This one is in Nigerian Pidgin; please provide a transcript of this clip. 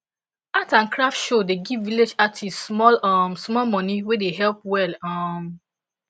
art and craft show dey give village artists small um small money wey dey help well um